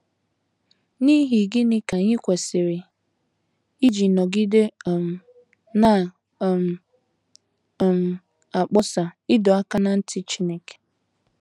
N’ihi gịnị ka anyị kwesịrị iji nọgide um na um - um akpọsa ịdọ aka ná ntị Chineke?